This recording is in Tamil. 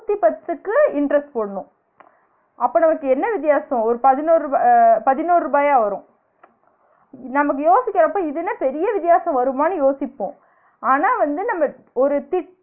நூத்தி பத்துக்கு interest போடணும அப்ப நமக்கு என்ன வித்தியாசம் ஒரு பதினொர் ருபா பதினோரு ருபாயா வரும் நமக்கு யோசிகிரப்ப இது என்ன பெரிய வித்தியாச வருமா? யோசிப்போம் ஆனா வந்து நம்ம